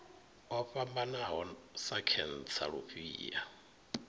o fhambanaho sa khentsa lufhia